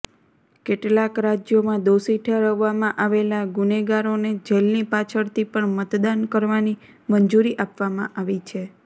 કેટલાક રાજ્યોમાં દોષી ઠેરવવામાં આવેલા ગુનેગારોને જેલની પાછળથી પણ મતદાન કરવાની મંજૂરી આપવામાં આવી છે